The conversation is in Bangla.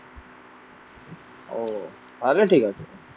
ও তাহলে ঠিক আছে।